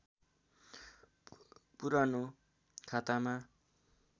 पुरानो खातामा